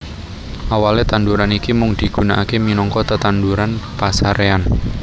Awalé tanduran iki mung dipigunakaké minangka tetanduran pasaréyan